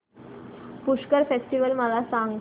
Pushkar festival मला सांग